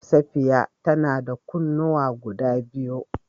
Safiya ta na da kunnuwa guda biyu.